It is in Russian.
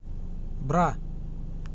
бра